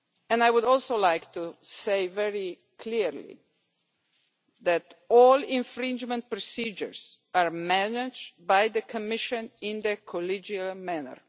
I would also like to say very clearly that all infringement procedures are managed by the Commission in the collegial manner.